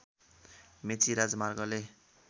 मेची राजमार्गले